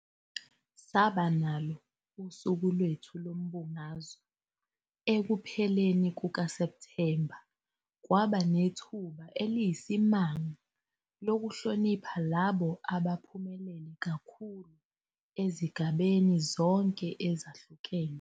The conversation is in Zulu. Saba nalo uSuku lwethu loMbungazo ekupheleni kukaSepthemba futhi kwaba nethuba eliyisimanga lokuhlonipha labo abaphumelele kakhulu ezigabeni zonke ezahlukene.